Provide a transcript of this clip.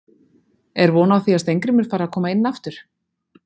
Er von á því að Steingrímur fari að koma inn aftur?